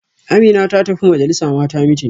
Amina ta tafi majalisa Mata meeting